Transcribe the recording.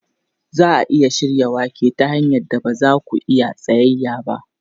Za a iya shirya wake ta hanyar da ba za ku iya tsayayya ba.